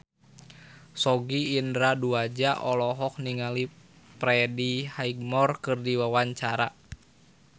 Sogi Indra Duaja olohok ningali Freddie Highmore keur diwawancara